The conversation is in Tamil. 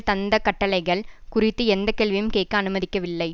தந்த கட்டளைகள் குறித்து எந்த கேள்வியும் கேக்க அனுமதிக்கவில்லை